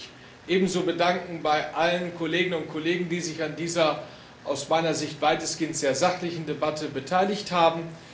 Ich darf mich ebenso bedanken bei allen Kolleginnen und Kollegen, die sich an dieser aus meiner Sicht weitestgehend sehr sachlichen Debatte beteiligt haben.